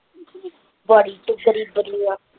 ਬੜੀ ਤੂੰ ਗਰੀਬਣੀ ਆ।